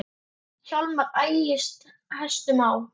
Hjálmar ægis hestum á.